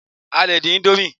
a lè dín Indomie